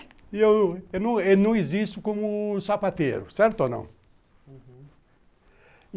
Eu não não existo como sapateiro, certo ou não? Uhum.